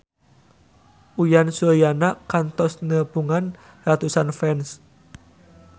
Uyan Suryana kantos nepungan ratusan fans